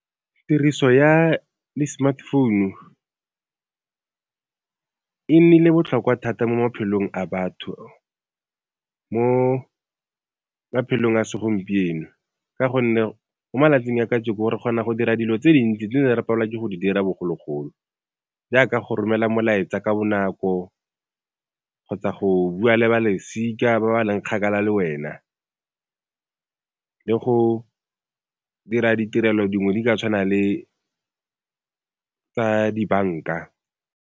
Tiriso ya di-smart founu, e nnile botlhokwa thata mo maphelong a batho, mo maphelong a segompieno ka gonne mo malatsing a kajeno re kgona go dira dilo tse dintsi di ne re palelwa ke go di dira bogologolo, jaaka go romela molaetsa ka bonako kgotsa go bua le ba lesika ba ba leng kgakala le wena le go dira ditirelo dingwe di ka tshwana le tsa dibanka.